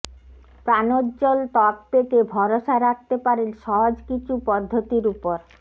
প্রাণজ্জ্বল ত্বক পেতে ভরসা রাখতে পারেন সহজ কিছু পদ্ধতির উপর